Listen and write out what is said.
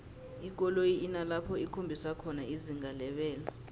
ikoloyi inalapho ikhombisa khona izinga lebelo